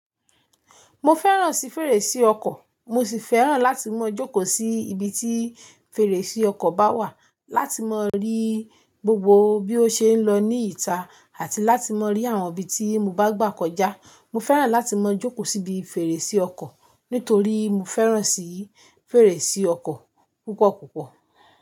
Mo fẹ́ràn sí fèrèsé ọkọ̀, mo sì fẹ́ràn láti máa jókòó sí ibi tí fèrèsé ọkọ̀ bá wà láti máa rí gbogbo bí ó ṣe ń lọ ní ìta àti láti máa rí àwọn ibi tí mo bá gbà kọjá. Mo fẹ́ràn láti máa jókòó síbi fèrèsé ọkọ̀ nítorí mo fẹ́ràn sí fèrèsé ọkọ̀ púpọ̀ púpọ̀